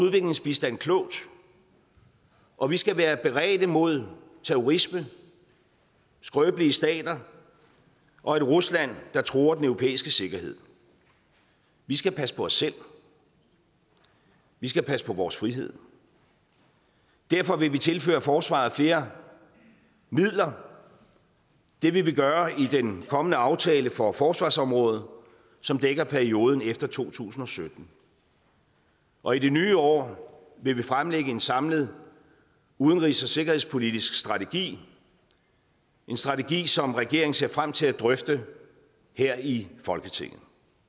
udviklingsbistand klogt og vi skal være beredte mod terrorisme skrøbelige stater og et rusland der truer den europæiske sikkerhed vi skal passe på os selv vi skal passe på vores frihed derfor vil vi tilføre forsvaret flere midler det vil vi gøre i den kommende aftale for forsvarsområdet som dækker perioden efter to tusind og sytten og i det nye år vil vi fremlægge en samlet udenrigs og sikkerhedspolitisk strategi en strategi som regeringen ser frem til at drøfte her i folketinget